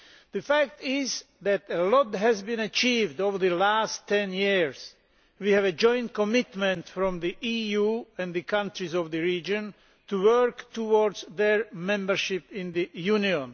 The fact is that a lot has been achieved over the last ten years. We have a joint commitment from the EU and the countries of the region to work towards their membership of the Union